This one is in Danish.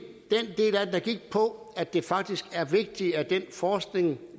der gik på at det faktisk er vigtigt at den forskning